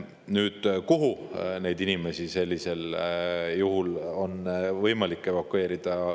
Nüüd, kuhu neid inimesi sellisel juhul on võimalik evakueerida?